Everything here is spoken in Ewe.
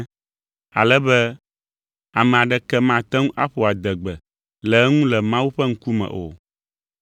ale be ame aɖeke mate ŋu aƒo adegbe le eŋu le Mawu ƒe ŋkume o.